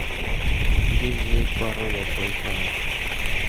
где взять пароль от вайфая